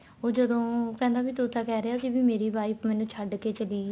ਉਹ ਜਦੋਂ ਕਹਿੰਦਾ ਤੂੰ ਤਾਂ ਕਹਿ ਰਿਹਾ ਸੀ ਵੀ ਮੇਰੀ wife ਮੈਨੂੰ ਛੱਡ ਕੇ ਚਲੀ ਗਈ